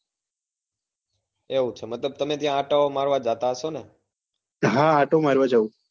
એવું છે મતલબ ત્યાં તમે આંટા ઓ મારવા જતા હસો ને હા આંટો મારવા જાઉં